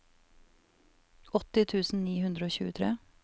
åtti tusen ni hundre og tjuetre